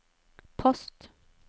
post